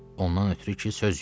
Ondan ötrü ki, söz yox.